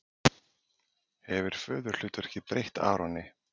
Hefur föðurhlutverkið breytt Aroni?